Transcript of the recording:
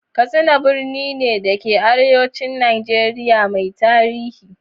Katsina birni ne da ke arewacin Najeriya mai tarihi.